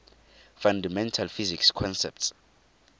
fundamental physics concepts